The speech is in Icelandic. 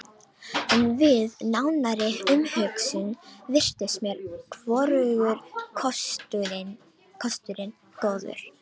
En við nánari umhugsun virtust mér hvorugur kosturinn góður.